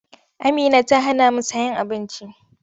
Amina ta hanamu sayen abinci.